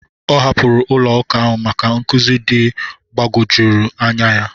Ọ hapụrụ ụlọ ụka ahụ maka nkụzi ndị gbagwojuturu anya ya.